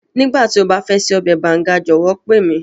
Nígbàtí o ba fẹ ṣe ọbẹ̀ Banga jọ̀wọ́ pe mi.